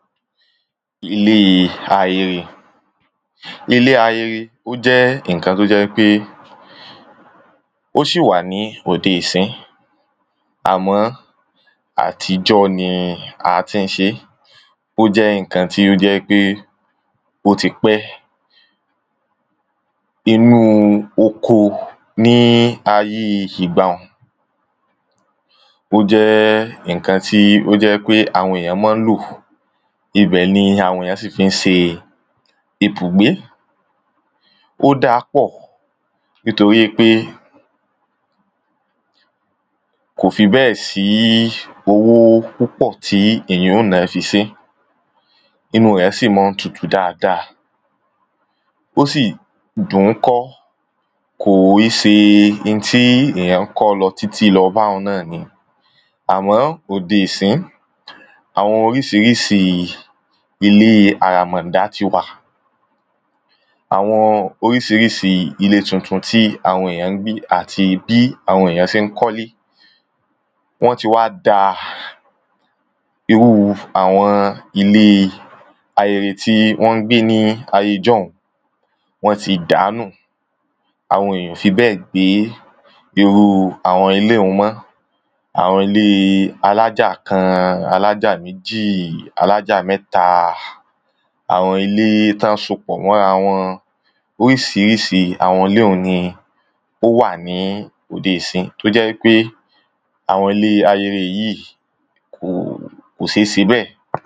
Ilé ayere. Ilé ayere ó jẹ́ nǹkã tó jẹ́ wípé ó ṣì wà ní òde ìsínyìí àmọ́ àtijọ́ ni a tí ń ṣé ó jẹ́ nǹkan tí ó jẹ́ pé ó ti pẹ́. Inú oko ní ayé ìgbàhun ó jẹ́ nǹkan tí àwọn èyàn mọ́ ń lò ibẹ̀ ni àwọn èyàn sì fí ń se ibùgbé. Ó dá a pọ̀ nítorípé kò fi bẹ́è sí owó púpọ̀ tí èyàn ó ná fi sé inú rẹ̀ sì mọ́ ń tutu dáada ó sì dùn kọ́ kò í se n tí èyàn ń kọ́ lọ títí báun náà ni. Àmọ́ òde ìsinyìí àwọn orísirísi ilé àràmọ̀dà ti wà àwọn orísirísi ilé tuntun tí àwọn èyàn ń gbé àti bí àwọn èyàn sé ń kọ́lé wọ́n ti wá dá irú àwọn ilé ayere tí wọ́n ń gbé ní ayé ijọ́hun wọ́n ti dàá nù àwọn èyàn ò fi bẹ́ẹ̀ gbé irú àwọn ilé un mọ́ àwọn ilé alájà kan alájà alájà méjì alájà mẹ́ta àwọn ilé tán sopọ̀ mọ́ra wọn. Orísirísi àwọn ilé ọ̀hún ni ó wà ní òde ìsiyìí tó jẹ pé àwọn ilé ayere yìí kò sé se bẹ́ẹ̀.